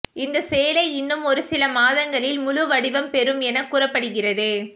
இந்த சேலை இன்னும் ஒருசில மாதங்களில் முழு வடிவம் பெறும் என கூறப்படுகிறது